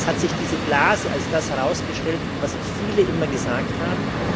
Jetzt hat sich diese Blase als das herausgestellt, was viele immer gesagt haben.